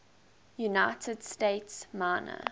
united states minor